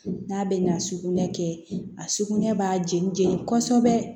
N'a bɛ na sugunɛ kɛ a sugunɛ b'a jeni jeni kɔsɔbɛ